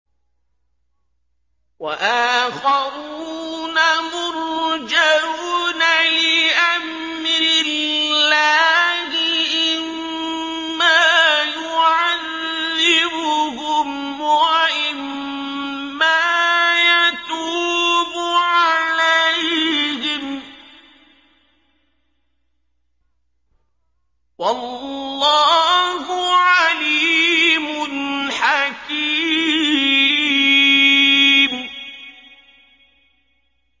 وَآخَرُونَ مُرْجَوْنَ لِأَمْرِ اللَّهِ إِمَّا يُعَذِّبُهُمْ وَإِمَّا يَتُوبُ عَلَيْهِمْ ۗ وَاللَّهُ عَلِيمٌ حَكِيمٌ